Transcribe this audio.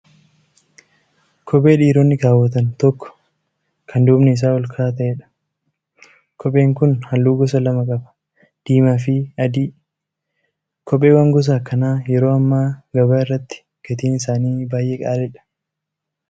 Kophee dhiirotni kaawwatan tokko kan duubni isaa ol ka'aa ta'eedha. Kopheen kun halluu gosa lama: diimaa fi adii qaba. Kopheewwan gosa akkanaa yeroo hammaa gabaa irratti gatiin isaanii baay'ee qaaliidha.